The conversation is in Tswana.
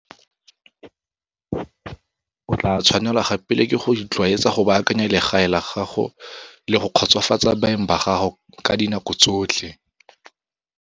O tla tshwanelwa gape le ke go itlwaetsa go baakanya legae la gago le go kgotsofatsa baeng ba gago ka dinako tsotlhe.